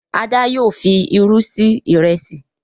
Ada yóò fí ìrù sí Ìrẹsí.